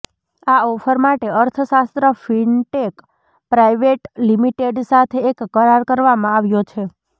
આ ઓફર માટે અર્થશાસ્ત્ર ફિનટેક પ્રાઇવેટ લિમીટેડ સાથે એક કરાર કરવામાં આવ્યો છે